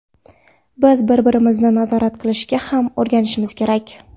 Biz bir-birimizni nazorat qilishga ham o‘rganishimiz kerak.